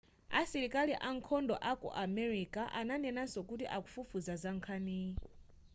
asilikali ankhondo aku america ananenanso kuti akufufuza za nkhaniyi